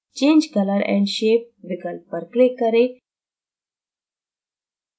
change color & shape विकल्प पर click करें